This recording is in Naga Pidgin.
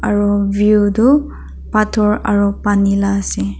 aru view tu pathor aru pani lah ase.